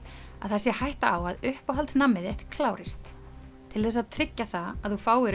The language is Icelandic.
að það sé hætta á að uppáhalds nammið þitt klárist til þess að tryggja það að þú fáir